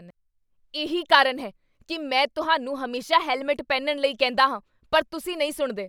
ਇਹੀ ਕਾਰਨ ਹੈ ਕੀ ਮੈਂ ਤੁਹਾਨੂੰ ਹਮੇਸ਼ਾ ਹੈਲਮੇਟ ਪਹਿਨਣ ਲਈ ਕਹਿੰਦਾ ਹਾਂ, ਪਰ ਤੁਸੀਂ ਨਹੀਂ ਸੁਣਦੇ।